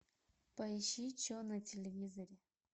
поищи че на телевизоре